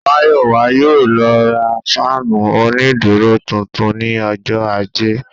Mayowa yóò lọ ra fáànù onídúró tuntun ní ọjọ́ ajé